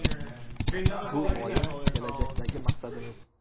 Bu – g‘oya, kelajakdagi maqsadimiz.